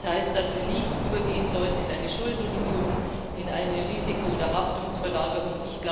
Das heißt, dass wir nicht übergehen sollten in eine Schuldenunion, in eine Risiko oder Haftungsverlagerung.